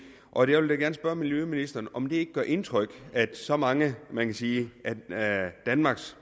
og jeg vil da gerne spørge miljøministeren om det ikke gør indtryk at så mange af man kan sige danmarks